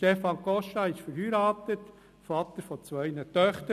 Stefan Costa ist verheiratet, Vater zweier Töchter.